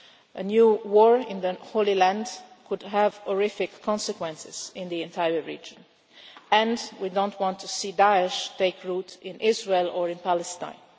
A new war in the Holy Land could have horrific consequences in the entire region and we do not want to see Daesh take root in Israel or in Palestine.